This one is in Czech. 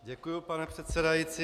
Děkuji, pane předsedající.